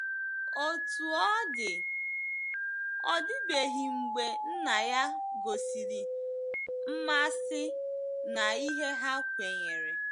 Otú ọ dị, ọ dịbeghị mgbe nna ya gosiri mmasị na ihe ha kwenyere.